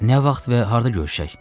Nə vaxt və harda görüşək?